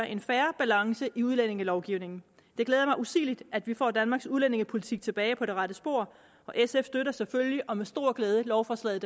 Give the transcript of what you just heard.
en fair balance i udlændingelovgivningen det glæder mig usigeligt at vi får danmarks udlændingepolitik tilbage på det rette spor sf støtter selvfølgelig og med stor glæde lovforslaget